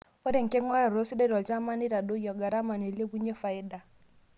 Ore enking'urata sidai tolchampai neitadoyio garama neilepunyie faida.